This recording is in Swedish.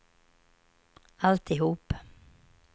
alltihop